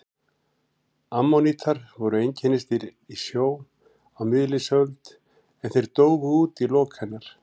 Ammonítar voru einkennisdýr í sjó á miðlífsöld en þeir dóu út í lok hennar.